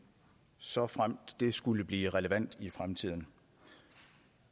såfremt det skulle blive relevant i fremtiden